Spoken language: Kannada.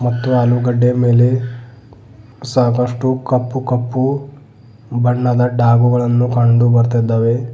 ಮತ್ತು ಆಲೂಗಡ್ಡೆಯ ಮೇಲೆ ಸಾಕಷ್ಟು ಕಪ್ಪು ಕಪ್ಪು ಬಣ್ಣದ ಡಾಬುಗಳನ್ನು ಕಂಡುಬರತಾಯಿದ್ದಾವೆ.